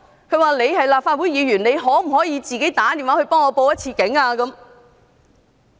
他說我是立法會議員，問我可否致電報警。